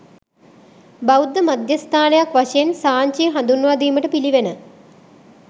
බෞද්ධ මධ්‍යස්ථානයක් වශයෙන් සාංචිය හඳුන්වා දීමට පිළිවන.